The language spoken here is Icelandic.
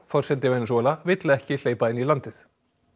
forseti Venesúela vill ekki hleypa inn í landið